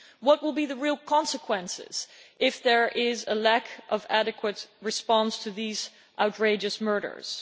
What will be the real consequences if there is a lack of adequate response to these outrageous murders?